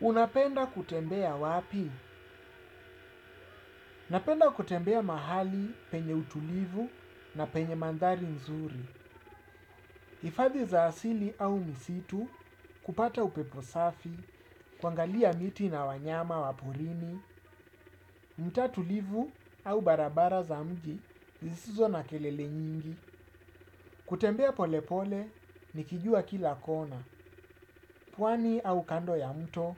Unapenda kutembea wapi? Napenda kutembea mahali penye utulivu na penye mandhari nzuri. Hifadhi za asili au msitu, kupata upepo safi, kuangalia miti na wanyama wa porini, mtaa tulivu au barabara za mji, zisizo na kelele nyingi. Kutembea polepole, nikijua kila kona. Pwani au kando ya mto,